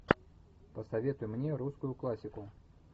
посоветуй мне русскую классику